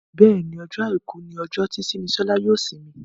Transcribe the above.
Béèni Ọjọ́ aìkú ní ojo tí Simisola yóò isimi.